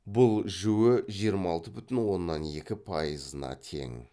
бұл жіө жиырма алты бүтін оннан екі пайызына тең